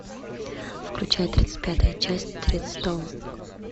включай тридцать пятая часть тредстоун